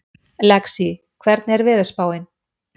Lexí, hvernig er veðurspáin?